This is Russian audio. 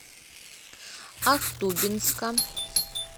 ахтубинска